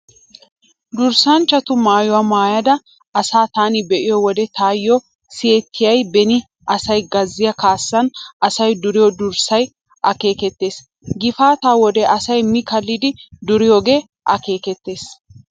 Durssanchchatu maayuwaa maayida asaa taani be'iyo wode taayyo siyettiyay beni asay gazziyaa kaassan asay duriyo durssay akeekettees. Gifaataa wode asay mi kallidi duriyoogee akeekettees.